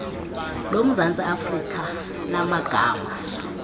lomzantsi afrika lamagama